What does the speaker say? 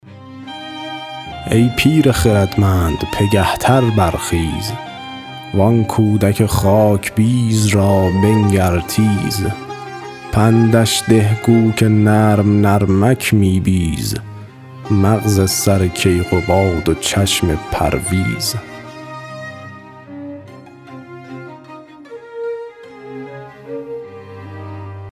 ای پیر خردمند پگه تر برخیز وآن کودک خاکبیز را بنگر تیز پندش ده گو که نرم نرمک می بیز مغز سر کیقباد و چشم پرویز